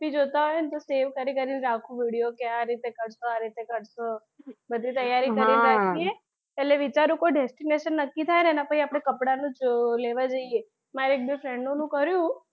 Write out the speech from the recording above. જોતા હોય ને તો save કરી કરીને રાખું video કે આ રીતે કરશું આ રીતે કરશું બધી તૈયારી કરીને રાખી એટલે વિચારું કોઈ destination નક્કી થાય ને એનાં પછી આપડે કપડાંનું લેવા જૈયે મારી એક બે friend ઓનું કર્યું.